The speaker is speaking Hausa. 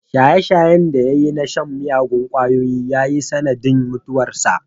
Shaye-shayen da ya yi na shan miyagun kwayoyi ya yi sanadin mutuwarsa.